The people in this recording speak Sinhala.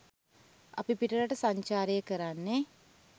අපි පිටරට සංචාරය කරන්නෙ